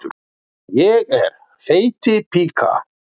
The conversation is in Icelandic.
Ég er þeytipíka.